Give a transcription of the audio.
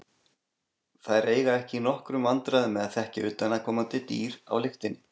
Þær eiga ekki í nokkrum vandræðum með að þekkja utanaðkomandi dýr á lyktinni.